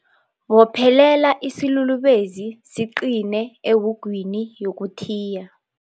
Bophelela isilulubezi siqine ewugwini yokuthiya.